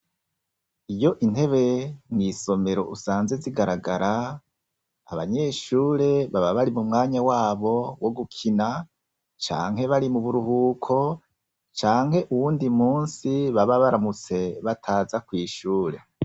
Iyo intebe mw'isomero usanze zigaragara, abanyeshure baba bari m'umwanya wabo wo gukina, canke bari m'uburuhuko, canke uwundi munsi baba baramutse bataza kw'ishure.